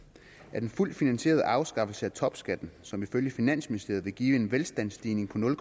at en fuldt finansieret afskaffelse af topskatten som ifølge finansministeriet vil give en velstandsstigning på nul